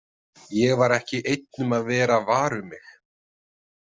Ég var ekki einn um að vera var um mig.